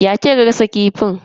Ya kika gasa kifin?